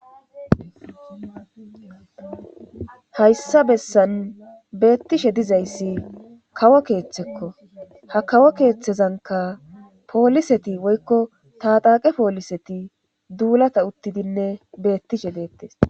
hayssa bessan beettishe dizayssi kawo keeththekko ha kawo keeththezanka pooliseti woykko taxaaqe pooliseti duulata uttidinne beettishe deettes.